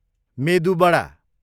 मेदु बडा